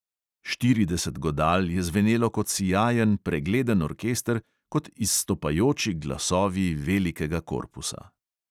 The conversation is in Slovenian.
Štirideset godal je zvenelo kot sijajen, pregleden orkester, kot izstopajoči glasovi velikega korpusa.